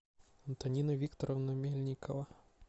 антонина викторовна мельникова